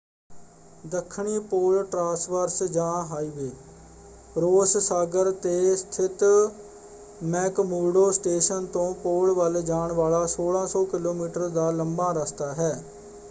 ਦੱਖਣੀ pole traverse ਜਾਂ highway Ross ਸਾਗਰ ‘ਤੇ ਸਥਿਤ ਮੈਕਮੁਰਡੋ ਸਟੇਸ਼ਨ ਤੋਂ ਪੋਲ ਵੱਲ ਜਾਣ ਵਾਲਾ 1600 ਕਿਲੋਮੀਟਰ ਦਾ ਲੰਬਾ ਰਸਤਾ ਹੈ।